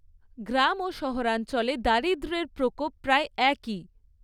গ্রাম ও শহরাঞ্চলে দারিদ্র্যের প্রকোপ প্রায় একই।